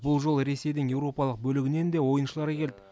бұл жолы ресейдің еуропалық бөлігінен де ойыншылары келді